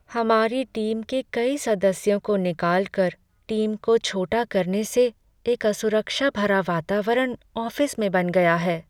हमारी टीम के कई सदस्यों को निकालकर टीम को छोटा करने से एक असुरक्षा भरा वातावरण ऑफिस में बन गया है।